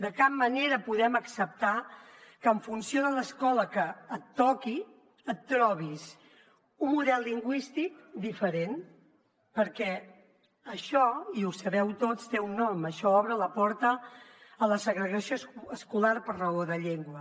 de cap manera podem acceptar que en funció de l’escola que et toqui et trobis un model lingüístic diferent perquè això i ho sabeu tots té un nom això obre la porta a la segregació escolar per raó de llengua